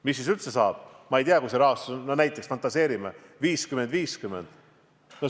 Mis siis üldse saab, kui see rahastus hakkab olema näiteks, fantaseerime, 50 : 50?